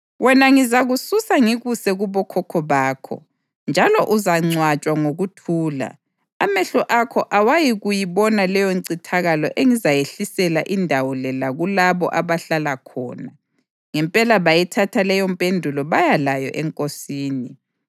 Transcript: Wena ngizakususa ngikuse kubokhokho bakho, njalo uzangcwatshwa ngokuthula. Amehlo akho awayikubona leyoncithakalo engizayehlisela indawo le lakulabo abahlala khona.’ ” Ngempela bayithatha leyompendulo baya layo enkosini.